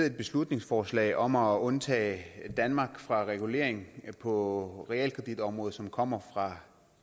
et beslutningsforslag om at undtage danmark fra den regulering på realkreditområdet som kommer fra